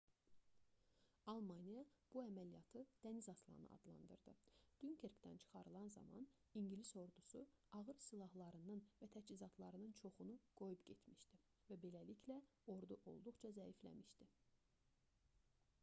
almaniya bu əməliyyatı dəniz aslanı adlandırdı. dünkerkdən çıxarılan zaman i̇ngilis ordusu ağır silahlarının və təchizatlarının çoxunu qoyub getmişdi və beləliklə ordu olduqca zəifləmişdi